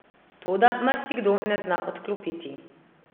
Toda marsikdo ne zna odklopiti.